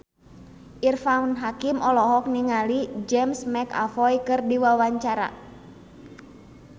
Irfan Hakim olohok ningali James McAvoy keur diwawancara